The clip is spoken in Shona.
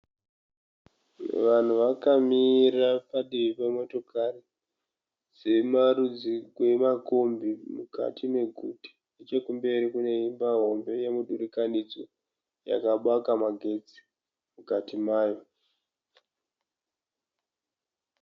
Vanhu vakamira padivi pemotokari dzemarudzi rwemakombi mukati meguta nechekumberi kune imba hombe yemudurikanidzwa yakabaka magetsi mukati mayo.